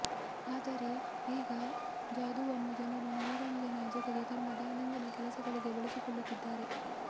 ಆದರೆ ಈಗ ಜಾದೂವನ್ನು ಜನರು ಮನರಂಜನೆಯ ಜತೆಗೆ ತಮ್ಮ ದೈನಂದಿನ ಕೆಲಸಗಳಿಗೆ ಬಳಸಿಕೊಳ್ಳುತ್ತಿದ್ಧಾರೆ